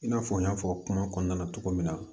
I n'a fɔ n y'a fɔ kuma kɔnɔna na cogo min na